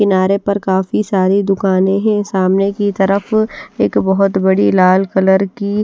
किनारे पर काफी सारी दुकाने हैं सामने की तरफ एक बहोत बड़ी लाल कलर की--